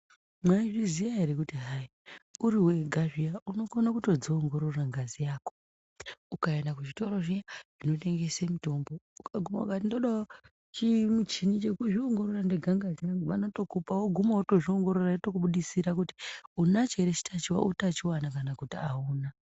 Maizviziva here kuti hayi uriwega zviya ukogona kutodziongorora ngazi yako Ukaenda kuzvitoro zviyani zvinotengesa mitombo, woguma ukati ndodawo chimuchini chekuzviongorora ndega ngazi yangu ,vanotokupa ,woguma wotozviongorora yotokubudisira kuti unachoere utachiona kana kuti auna.